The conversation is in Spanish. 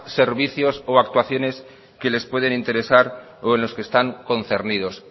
servicios o actuaciones que les pueden interesar o en lo que están concernidos